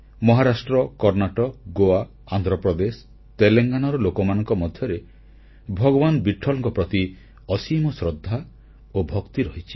ମହାରାଷ୍ଟ୍ର କର୍ଣ୍ଣାଟକ ଗୋଆ ଆନ୍ଧ୍ରପ୍ରଦେଶ ତେଲଙ୍ଗାନାରେ ଲୋକମାନଙ୍କ ମଧ୍ୟରେ ଭଗବାନ ବିଟ୍ଠଲଙ୍କ ପ୍ରତି ଅସୀମ ଶ୍ରଦ୍ଧା ଓ ଭକ୍ତି ରହିଛି